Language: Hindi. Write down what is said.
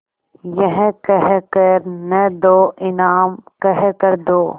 यह कह कर न दो इनाम कह कर दो